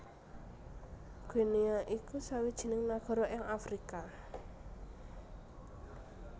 Guinea iku sawijining nagara ing Afrika